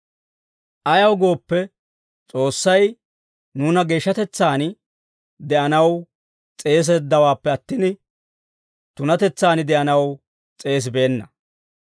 Ayaw gooppe, S'oossay nuuna geeshshatetsaan de'anaw s'eeseeddawaappe attin, tunatetsaan de'anaw s'eesibeenna.